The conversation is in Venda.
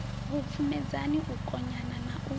vhupfumedzani u konanya na u